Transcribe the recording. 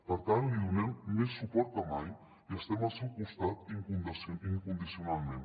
per tant li donem més suport que mai i estem al seu costat incondicionalment